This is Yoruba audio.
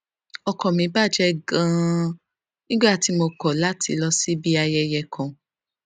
ọkàn mi bà jé ganan nígbà tí mo kò láti lọ síbi ayẹyẹ kan